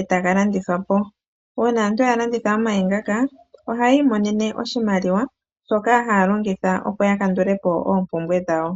e taga landithwa po. Uuna aantu ya landitha omayi ngaka, ohayi imonene oshimaliwa shoka haa longitha opo ya kandule po oompumbwe dhawo.